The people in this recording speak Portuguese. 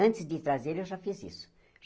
Antes de trazerem, eu já fiz isso.